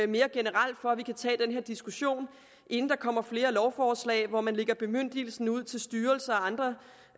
mere generelt for at vi kan tage den her diskussion inden der kommer flere lovforslag hvor man lægger bemyndigelse ud til styrelser og andre